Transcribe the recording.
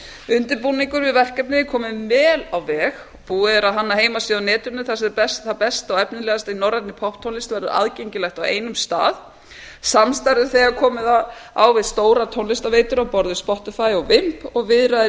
undirbúningur undir verkefnið er kominn vel á veg búið er að hanna heimasíðu á netinu þar sem það besta og efnilegasta í norrænni popptónlist verður aðgengilegt á einum stað samstarf er þegar komið á við stórar tónlistarveitur á borð við spotterfy og og viðræður í